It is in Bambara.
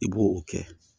I b'o o kɛ